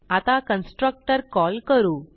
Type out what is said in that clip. आता constructor call करू